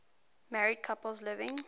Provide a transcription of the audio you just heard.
married couples living